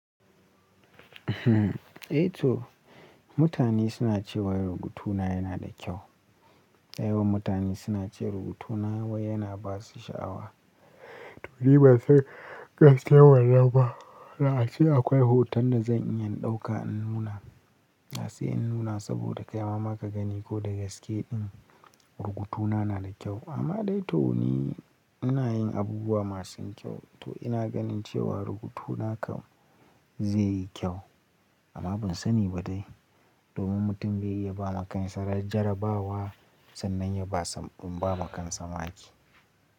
Eh to mutane suna cewa rubutuna yana da kyau. Dayawan mutane suna ce rubutuna wai yana ba su sha'awa. To ni ba san gaskiyar wannan ba. Da ace akwai hoton da zan iya in ɗauka in nuna. Da sai in nuna saboda kai ma ma ka gani ko dagaske din rubutuna na da kyau. Amma dai to ni ina yin abubuwa masu kyau to ina ganin cewa rubutuna kan zai yi kyau amma ban sani ba dai domin mutum bai iya ba makansa raj jara bawa sannan ya ba sam bama kansa maki.